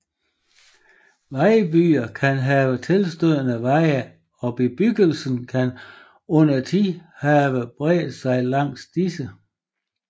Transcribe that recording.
Vejbyer kan have tilstødende veje og bebyggelsen kan undertiden have bredt sig langs disse